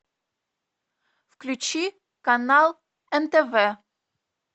включи канал нтв